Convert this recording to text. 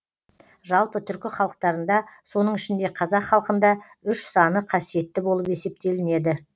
жалпы түркі халықтарында соның ішінде қазақ халқында үш саны қасиетті болып есептелінеді